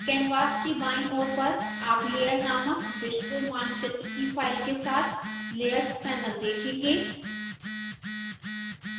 canvas के बाईं ओर पर आप layer नामक विश्वमानचित्र की फाइल के साथ layers panel देखेंगे